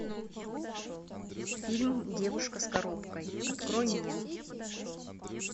фильм девушка с коробкой открой мне